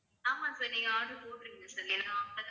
ஆமாம் sir நீங்க order போட்டிருங்க sir